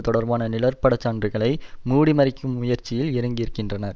தொடர்பான நிழற்பட சான்றுகளை மூடிமறைக்கும் முயற்சியில் இறங்கியிருக்கின்றனர்